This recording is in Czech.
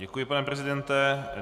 Děkuji, pane prezidente.